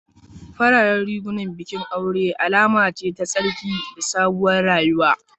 Fararen rigunan bikin aure alama ce ta tsarki da sabuwar rayuwa